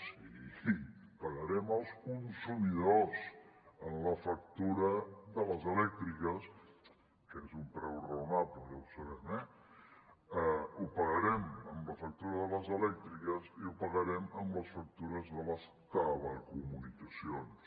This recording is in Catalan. sí pagarem els consumidors en la factura de les elèctriques que és un preu raonable ja ho sabem ho pagarem amb la factura de les elèctriques i ho pagarem amb les factures de les telecomunicacions